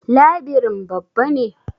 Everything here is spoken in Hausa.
Labirin babba ne?